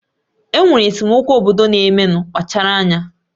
Enwere esemokwu obodo na-emenu, kpachara anya